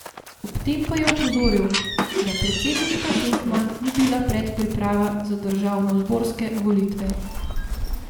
Ob tem pa je opozoril, da predsedniška tekma ni bila predpriprava za državnozborske volitve.